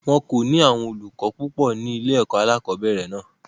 Wọn kò ní àwọn olùkọ́ púpò ní ilé-ẹ̀kọ́ alẹ́kọ̀ọ́bẹ̀rẹ̀ náà.